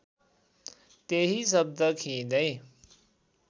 त्यही शब्द खिइँदै